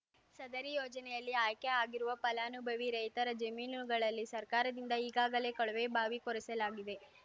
ಸದರಿ ಯೋಜನೆಯಲ್ಲಿ ಆಯ್ಕೆಆಗಿರುವ ಫಲಾನುಭವಿ ರೈತರ ಜಮೀನುಗಳಲ್ಲಿ ಸರ್ಕಾರದಿಂದ ಈಗಾಗಲೇ ಕೊಳವೆಬಾವಿ ಕೊರೆಸಲಾಗಿದೆ